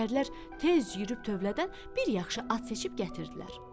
Nökərlər tez yeriyib tövlədən bir yaxşı at seçib gətirdilər.